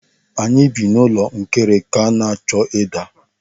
Anyị bi n'ụlọ nkirika na-achọ ịda.